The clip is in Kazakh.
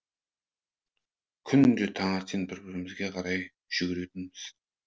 күнде таңертең бір бірімізге қарай жүгіретінбіз